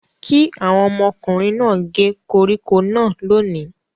Kí àwọn ọmọkùnrin náà gé koríko náà lónìí!